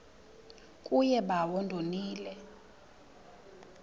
kuye bawo ndonile